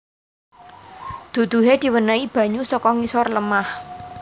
Duduhe diwenehi banyu saka ngisor lemah